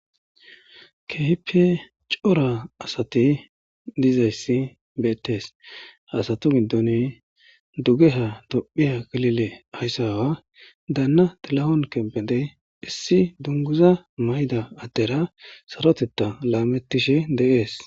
kehipe cora asati diizayssi beettes asato gindoni dugeha dophiya galile ayssawa daanna tilehon kembedey issi dunguza mayda addera sarotetta laamettishe deees